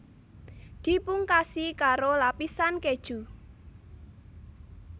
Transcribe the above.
Dipungkasi karoo lapisan keju